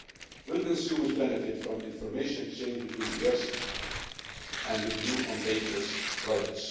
Will consumers benefit from information exchanges between the US and the EU on dangerous products?